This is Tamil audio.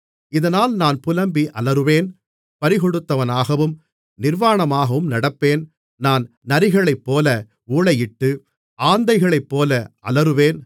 இதனால் நான் புலம்பி அலறுவேன் பறிகொடுத்தவனாகவும் நிர்வாணமாகவும் நடப்பேன் நான் நரிகளைப்போல ஊளையிட்டு ஆந்தைகளைப்போல அலறுவேன்